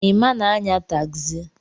Emma na-anya tagzi.